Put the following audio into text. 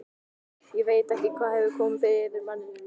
Ég veit ekki hvað hefur komið yfir manninn.